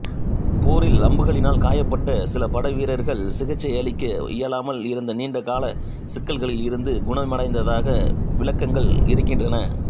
போரில் அம்புகளினால் காயம்பட்ட சில படைவீரர்கள் சிகிச்சையளிக்க இயலாமல் இருந்த நீண்ட காலச் சிக்கல்களில் இருந்து குணமடைந்ததாக விளக்கங்கள் இருக்கின்றன